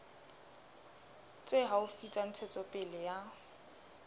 tse haufi tsa ntshetsopele ya